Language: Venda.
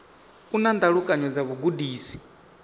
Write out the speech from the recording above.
u na ndalukanyo dza vhugudisi